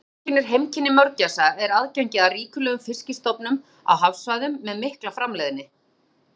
Það sem einkennir heimkynni mörgæsa er aðgengi að ríkulegum fiskistofnum á hafsvæðum með mikla framleiðni.